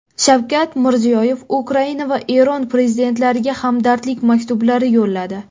Shavkat Mirziyoyev Ukraina va Eron prezidentlariga hamdardlik maktublari yo‘lladi.